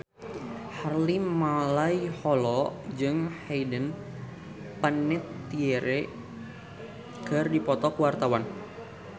Harvey Malaiholo jeung Hayden Panettiere keur dipoto ku wartawan